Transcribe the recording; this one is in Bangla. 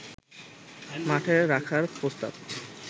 মাঠে রাখার প্রস্তাব